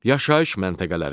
Yaşayış məntəqələri.